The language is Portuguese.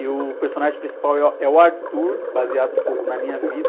E o personagem principal é o, a, é o Arthur, baseado um pouco na minha vida.